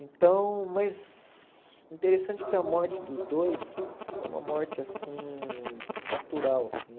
Então, mas interessante que a morte dos dois foi uma morte, assim, natural, assim.